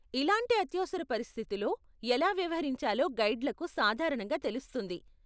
ఇలాంటి అత్యవసర పరిస్థితిలో ఎలా వ్యవహరించాలో గైడ్లకు సాధారణంగా తెలుస్తుంది.